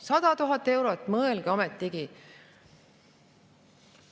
100 000 eurot, mõelge ometigi.